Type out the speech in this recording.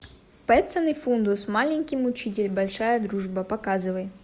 петсон и финдус маленький мучитель большая дружба показывай